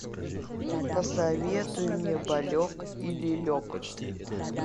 посоветуй мне болек и лелек